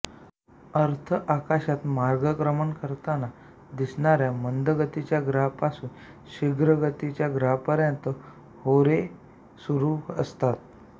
अर्थ आकाशात मार्गक्रमण करताना दिसणाऱ्या मंदगतीच्या ग्रहापासून शीघ्रगतीच्या ग्रहापर्यंत होरे सुरू असतात